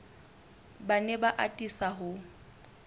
ba ne ba atisa ho